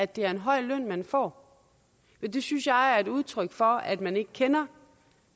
det er en høj løn man får det synes jeg er et udtryk for at man ikke kender